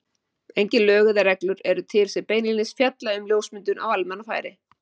Engin lög eða reglur eru til sem beinlínis fjalla um ljósmyndun á almannafæri.